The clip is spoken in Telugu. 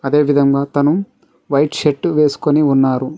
అదే విదంగా అతను వైట్ షర్ట్ వేసుకొని ఉన్నారు.